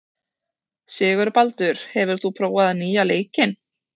Sigurbaldur, hefur þú prófað nýja leikinn?